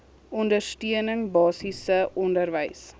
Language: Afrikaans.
ondersteuning basiese onderwys